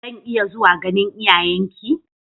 Zan iya zuwa ganin iyayenki?